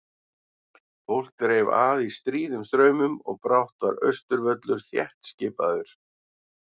Fólk dreif að í stríðum straumum og brátt var Austurvöllur þéttskipaður.